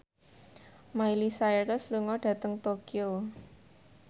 Miley Cyrus lunga dhateng Tokyo